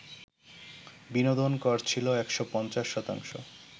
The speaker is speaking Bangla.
বিনোদন কর ছিল ১৫০ শতাংশ